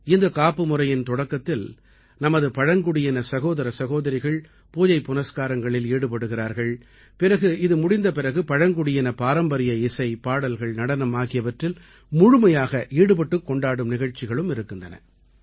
இந்தக் காப்பு முறையின் தொடக்கத்தில் நமது பழங்குடியின சகோதர சகோதரிகள் பூஜை புனஸ்காரங்களில் ஈடுபடுகிறார்கள் பிறகு இது முடிந்த பிறகு பழங்குடியின பாரம்பரிய இசை பாடல்கள் நடனம் ஆகியவற்றில் முழுமையாக ஈடுபட்டுக் கொண்டாடும் நிகழ்ச்சிகளும் இருக்கின்றன